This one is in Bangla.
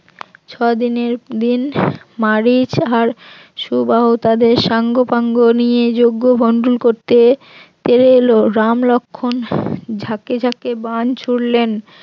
ছদিনের দিন মারিচ আর সুবাহু তাদের সাংগপাঙ্গো নিয়ে যোগ্য ভণ্ডুল করতে তেরে এলো রাম লক্ষণ ঝাকে ঝাকে বান ছুড়লেন